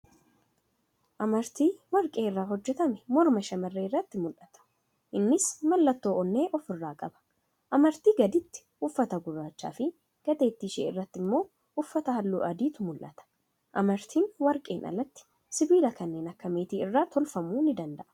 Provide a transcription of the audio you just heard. Amartii warqee irraa hojjatame morma shamarree irrati mul'ata. Innis mallattoo onnee ofirraa qaba. Amartii gaditti uffata gurraachafi gateetti ishee irratti immoo uffata halluu adiitu mul'ata. Amartiin warqeen alatti sibiila kanneen akka meetii irraa tolfamuu ni danda'a.